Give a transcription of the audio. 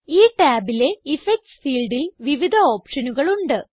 ഈ ടാബിലെ ഇഫക്ട്സ് ഫീൽഡിൽ വിവിധ ഓപ്ഷനുകളുണ്ട്